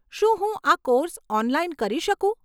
શું હું આ કોર્સ ઓનલાઈન કરી શકું?